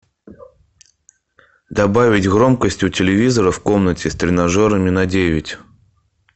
добавить громкость у телевизора в комнате с тренажерами на девять